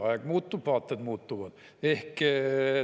Aeg muutub, vaated muutuvad!